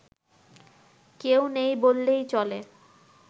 কেউ নেই বললেই চলে